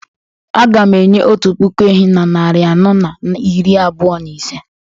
Aga m enye otu puku ehi na narị anọ na iri abụọ na ise